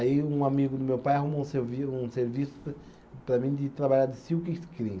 Aí, um amigo do meu pai arrumou um servi, um serviço para mim de trabalhar de silk screen.